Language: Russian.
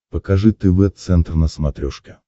покажи тв центр на смотрешке